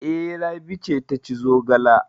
E, Rabi ce ta ci zogala.